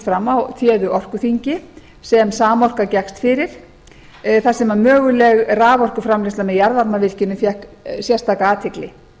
fram á téðu orkuþingi sem samorka gekkst fyrir þar sem möguleg raforkuframleiðsla með jarðvarmavirkjunum fékk sérstaka athygli